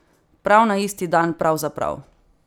Prav na isti dan, pravzaprav!